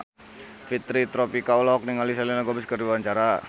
Fitri Tropika olohok ningali Selena Gomez keur diwawancara